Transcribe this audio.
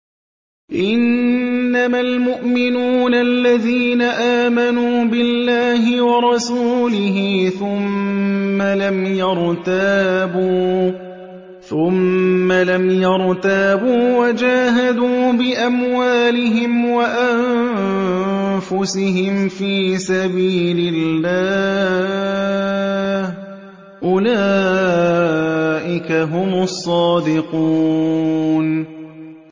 إِنَّمَا الْمُؤْمِنُونَ الَّذِينَ آمَنُوا بِاللَّهِ وَرَسُولِهِ ثُمَّ لَمْ يَرْتَابُوا وَجَاهَدُوا بِأَمْوَالِهِمْ وَأَنفُسِهِمْ فِي سَبِيلِ اللَّهِ ۚ أُولَٰئِكَ هُمُ الصَّادِقُونَ